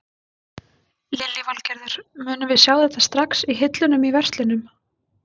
Lillý Valgerður: Munum við sjá þetta strax í hillunum í verslunum?